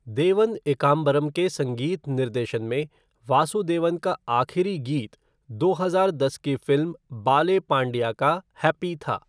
देवन एकांबरम के संगीत निर्देशन में वासुदेवन का आखिरी गीत दो हजार दस की फ़िल्म 'बाले पांडिया' का 'हैप्पी' था।